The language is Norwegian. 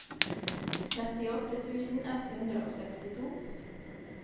trettiåtte tusen ett hundre og sekstito